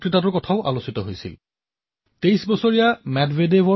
social মিডিয়াতো বহু আলোচনা হৈছিল আৰু পিছত মইও সেই ভাষণ শুনিলো আৰু খেলখনো চালো